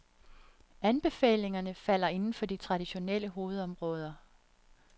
Anbefalingerne falder indenfor de traditionelle hovedområder.